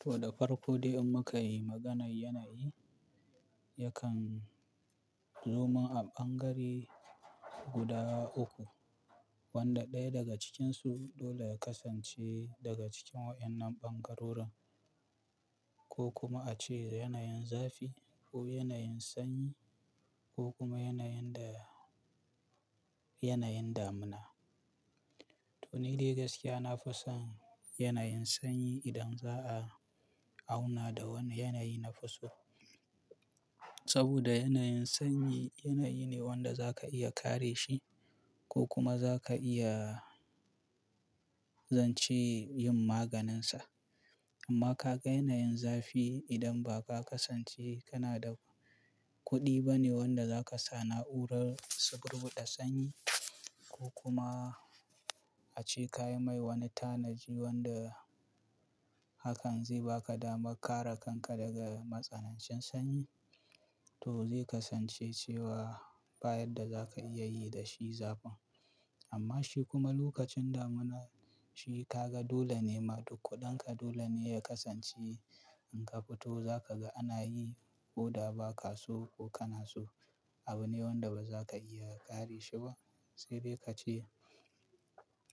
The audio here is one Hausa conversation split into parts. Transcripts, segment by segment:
To da farko dai in muka yi maganar yanayi, yakan zomin a ɓangare guda uku wanda ɗaya daga cikinsu dole ya kasance daga cikin waƴannan ɓangarorin ko kuma a ce yana yin zafi ko yana yin sanyi ko kuma yana yin dama-- yana yin damina. To ni dai gaskiya na fi son yanayin sanyi idan za a auna da wani yanayi na fi so. Saboda yanayin sanyi yanayi ne wanda za ka iya kare shi ko kuma za ka iya zance yin maganinsa. Amma ka ga yanayin zafi idan ba ka kasance kana da kuɗi ba ne wanda za ka sa na'urar subur buɗa sanyi ko kuma a ce ka yi mai wani tanaji wanda hakan zai baka dama kare kanka daga matsanancin sanyi, to zai kasance cewa ba yadda za ka iya yi da shi zafin. Amma shi kuma lokacin damina shi ka ga dole ne ma duk kuɗinka dole ne ya kasance in ka fito za ka ga ana yi koda ba ka so ko kana so. Abu ne wanda ba za ka iya kare shi ba sai dai ka ce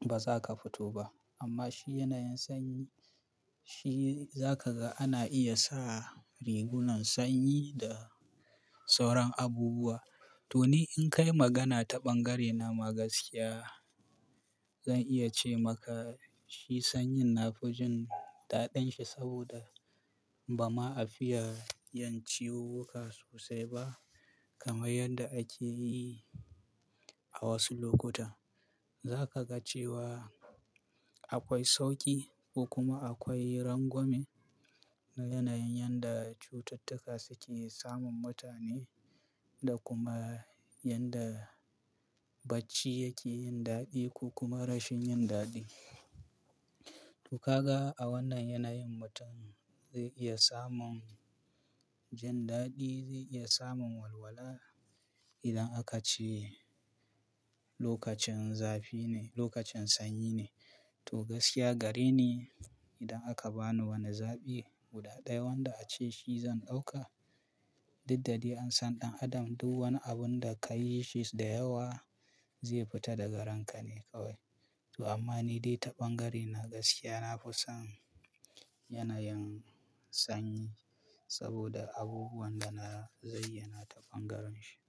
ba za ka fito ba. Amma shi yanayin sanyi shi za ka ga ana iya sa rigunan sanyi da sauran abubuwa. To ni in kai magana ta ɓangarena ma gaskiya zan iya ce maka shi sanyin na fi jin daɗin shi saboda ba ma a fiya yin ciwuwwuka sosai ba kamar yanda ake yi a wasu lokuta. Za ka ga cewa akwai sauƙi ko kuma akwai rangwame na yanayin yadda cututtuka suke samun mutane da kuma yadda bacci yake yin daɗi ko kuma rashin yin daɗi. To ka ga a wannan yanayin mutum zai iya samun jin daɗi, zai iya samun walwala idan aka ce lokacin zafi ne, lokacin sanyi ne. To gaskiya gare ni idan aka bani wani zaɓi guda ɗaya wanda a ce shi zan ɗauka, duddade an san ɗan adam duk wani abun da ka yi shi da yawa zai fita daga ranka ne kawai. To amma ni dai ta ɓangarena gaskiya na fi son yanayin sanyi saboda abubuwan da na zayyana ta ɓangaren shi.